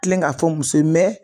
Kilen ka fɔ muso ye